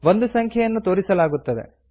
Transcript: ಒಂದು ಸಂಖ್ಯೆಯನ್ನು ತೋರಿಸಲಾಗುತ್ತದೆ